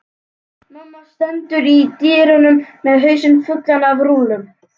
Mamma stendur í dyrunum með hausinn fullan af rúllum.